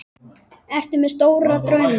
Ertu með stóra drauma?